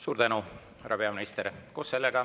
Suur tänu, härra peaminister!